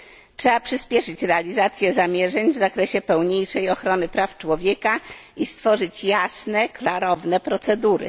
Trzeba przyśpieszyć realizację zamierzeń w zakresie pełniejszej ochrony praw człowieka i stworzyć jasne klarowne procedury.